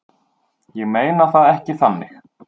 Ég meina það ekki þannig.